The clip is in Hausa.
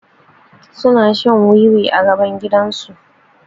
Suna shan wiwi a gaban gidan su